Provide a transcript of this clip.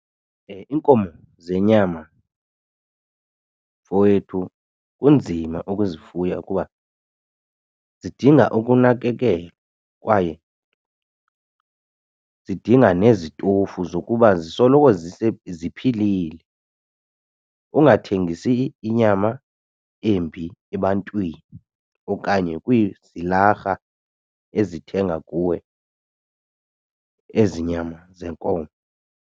Iinkomo zenyama mfowethu kunzima ukuzifuya kuba zidinga ukunakekelwa kwaye zidinga nezitofu zokuba zisoloko ziphilile. Ungathengisi inyama embi ebantwini okanye kwiizilarha ezithenga kuwe ezi nyama zeenkomo.